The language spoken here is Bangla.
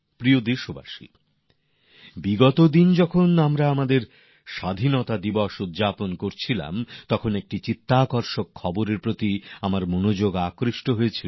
প্রিয় দেশবাসী বিগত দিনগুলিতে যখন আমরা স্বাধীনতা দিবস পালন করছিলাম তখন একটি আকর্ষনীয় খবরের দিকে আমার নজর গিয়েছে